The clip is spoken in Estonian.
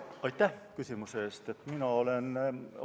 Aitäh küsimuse eest!